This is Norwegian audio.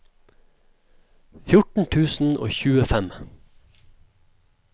fjorten tusen og tjuefem